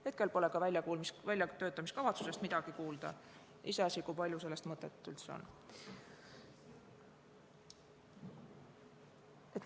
Hetkel pole ka väljatöötamiskavatsusest midagi kuulda, iseasi, kui palju sellel üldse mõtet on.